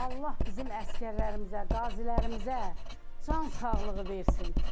Allah bizim əsgərlərimizə, qazilərimizə cansağlığı versin.